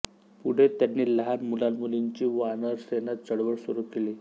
पुढे त्यांनी लहान मुलामुलींची वानरसेना चळवळ सुरू केली